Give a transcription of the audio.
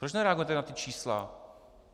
Proč nereagujete na ta čísla?